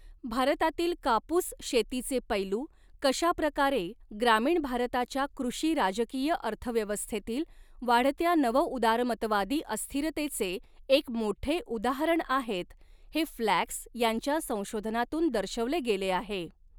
भारतातील कापूस शेतीचे पैलू, कशाप्रकारे ग्रामीण भारताच्या कृषी राजकीय अर्थव्यवस्थेतील वाढत्या नवउदारमतवादी अस्थिरतेचे एक मोठे उदाहरण आहेत, हे फ्लॅक्स यांच्या संशोधनातून दर्शवले गेले आहे.